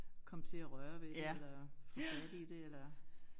Komme til at røre ved det eller få fat i det eller